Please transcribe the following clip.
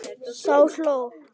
Þá hló